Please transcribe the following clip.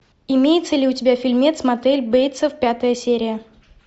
имеется ли у тебя фильмец мотель бейтсов пятая серия